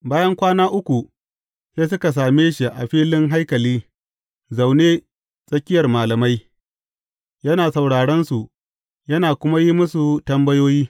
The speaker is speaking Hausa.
Bayan kwana uku, sai suka same shi a filin haikali zaune a tsakiyar malamai, yana sauraronsu yana kuma yi musu tambayoyi.